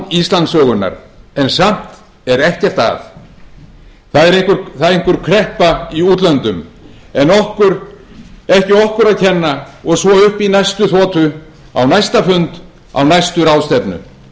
íslandssögunnar en samt er ekkert að það er einhver kreppa í útlöndum en ekki okkur að kenna og svo upp í næstu þotu á næsta fund á næstu ráðstefnu við sjáum